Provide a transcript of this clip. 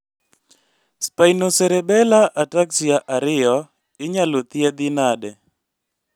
Spinocerebellar ataxia 2 inyalo thiedhi nade